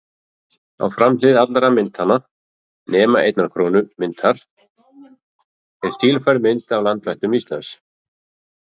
Á framhlið allra myntanna, nema einnar krónu myntarinnar, er stílfærð mynd af landvættum Íslands.